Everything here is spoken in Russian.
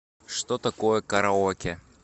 что такое караоке